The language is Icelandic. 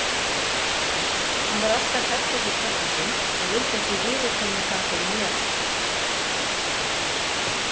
Hann var alltaf hræddur við pabba sinn en vildi ekki viðurkenna það fyrir mér.